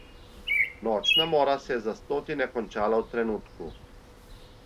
Nočna mora se je za stotine končala v trenutku.